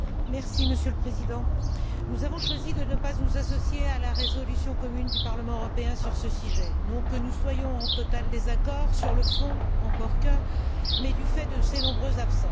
Monsieur le Président, nous avons choisi de ne pas nous associer à la résolution commune du Parlement européen sur ce sujet, non que nous soyons en total désaccord sur le fond, encore que, mais du fait de ses nombreuses lacunes.